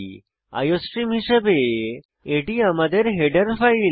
iostream হিসাবে এটি আমাদের হেডার ফাইল